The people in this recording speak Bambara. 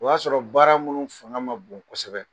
O y'a sɔrɔ baara minnu fana ma bon kosɛbɛ